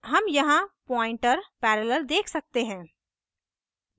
हम यहाँ pointer parallel देख सकते हैं